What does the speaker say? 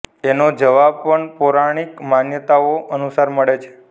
એનો જવાબ પણ પૌરાણિક માન્યતાઓ અનુસાર મળે છે